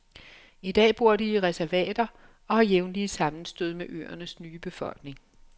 I dag bor de i reservater og har jævnlige sammenstød med øernes nye befolkning.